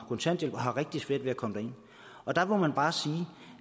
kontanthjælp og har rigtig svært ved at komme derind der må man bare sige